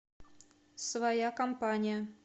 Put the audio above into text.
своя компания